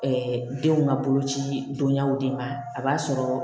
denw ka boloci dɔniyaw de ma a b'a sɔrɔ